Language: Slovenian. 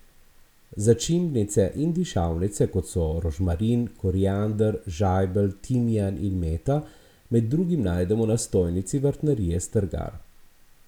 Začimbnice in dišavnice, kot so rožmarin, koriander, žajbelj, timijan in meta, med drugim najdemo na stojnici Vrtnarije Strgar.